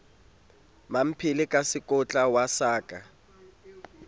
mmamphele ka sekotlo wa sala